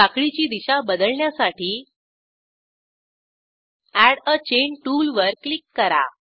साखळीची दिशा बदलण्यासाठी एड आ चैन टूलवर क्लिक करा